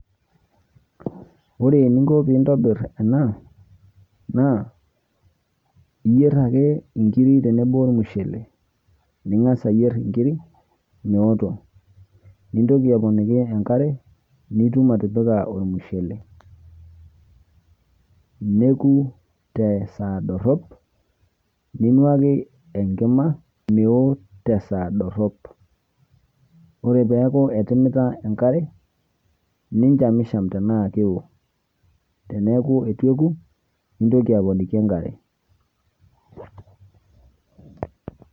Ore eningo pee intobirr ena, naa iyierr ake nkiri tenabo ormushule meoto nintoki aponiki enkare, nitum atipika ormusele. Neeku te saa dorop, ninuaki enkima meo te saa dorop. Ore peeku etimita enkare nichamisham tenaa kewo teeneku eitu eku nintoki aponiki enkare.